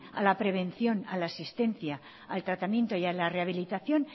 a la prevención a la asistencia al tratamiento y a la rehabilitación